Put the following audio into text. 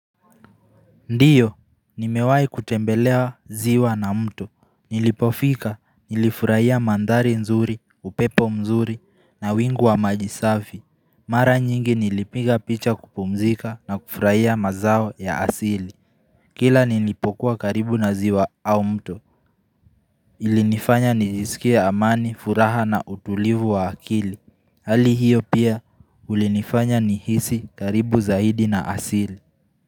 Ndiyo, nimewai kutembelea ziwa na mto, nilipofika, nilifurahia mandhari nzuri, upepo mzuri na wingu wa majisafi Mara nyingi nilipiga picha kupumzika na kufurahia mazao ya asili Kila nilipokuwa karibu na ziwa au mto ilinifanya nijiskie amani, furaha na utulivu wa akili Hali hiyo pia ulinifanya nihisi karibu zaidi na asili.